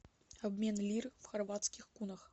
обмен лир в хорватских кунах